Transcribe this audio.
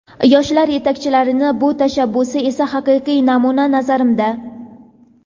Yoshlar yetakchilarining bu tashabbusi esa haqiqiy namuna, nazarimda.